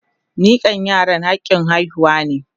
Mikan yara hakin haihuwa ne.